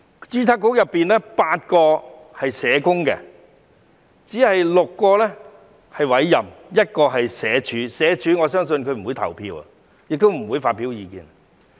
註冊局有8名成員是社工，有6名成員是委任的、有1名來自社署——我相信該成員不會投票，亦不會發表意見。